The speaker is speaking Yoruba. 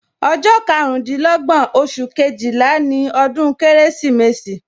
Ọjọ́ karundinlogbon oṣù Kejìlá ni ọdún Kérésìmesì